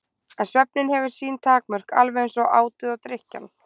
En svefninn hefur sín takmörk- alveg eins og átið og drykkjan.